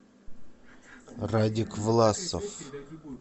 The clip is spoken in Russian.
радик власов